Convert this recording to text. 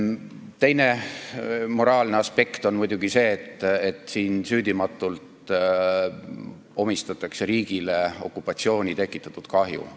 Teine moraalne aspekt on muidugi see, et süüdimatult omistatakse riigile vastutus okupatsiooni tekitatud kahju eest.